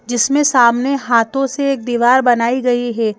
जिसमें सामने हाथों से एक दीवार बनाई गई है।